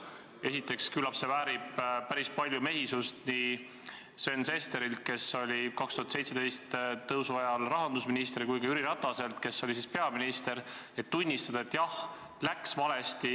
Esiteks, küllap see nõuab päris palju mehisust nii Sven Sesterilt, kes oli 2017 tõusu ajal rahandusminister, kui ka Jüri Rataselt, kes oli siis peaminister, et tunnistada: jah, läks valesti.